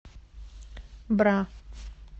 бра